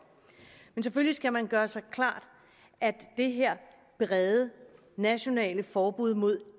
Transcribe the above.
men selvfølgelig skal man gøre sig klart at det her brede nationale forbud mod